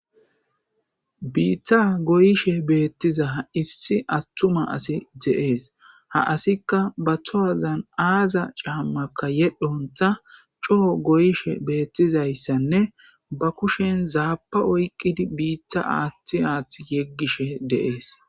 biitta goyishe beettiza issi attuma asi de7ees ha asikka ba towazan aaza caammaka yedhonta coo goyshe beettizayssanne ba kushen zaapa oyqqidi biitta aaththi aaththi yeggishe deees